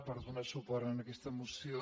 per donar suport a aquesta moció